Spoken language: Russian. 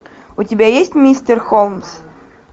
у тебя есть мистер холмс